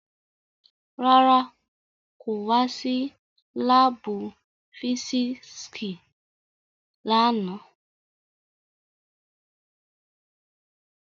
Rárá, ko wa si laabu fisiksi làná